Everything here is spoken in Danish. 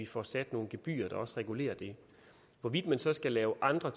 få sat nogle gebyrer der regulerer det hvorvidt man så skal lave andre